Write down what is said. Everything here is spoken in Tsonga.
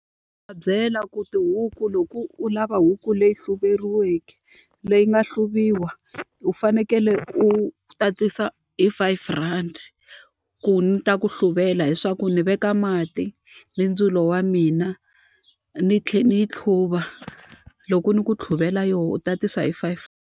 Va byela ku tihuku loko u lava huku leyi leyi nga hluviwanga, u fanekele u tatisa hi five rand ku ni ta ku hluvela. Hileswaku ndzi veka mati ni ndzilo wa mina, ni tlhela ni yi hluva. Loko ni ku hluvela yona u tatisa hi five.